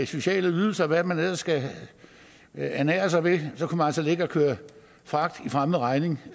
sociale ydelser og hvad man ellers kan ernære sig ved ligge og køre fragt i fremmed regning